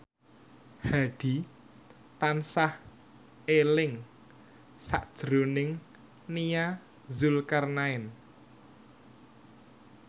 Hadi tansah eling sakjroning Nia Zulkarnaen